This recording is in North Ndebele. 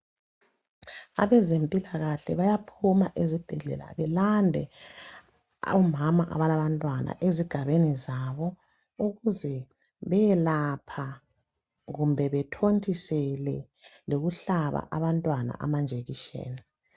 Abezempilakahle bayaphuma ezibhedlela belande omama abalabantwana esigabeni zabo ukuze beyelapha kumbe bethontisele lokuhlana abantwana amajekiseni